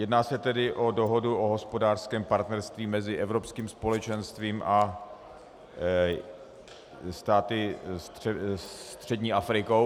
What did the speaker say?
Jedná se tedy o dohodu o hospodářském partnerství mezi Evropským společenstvím a státy střední Afriky.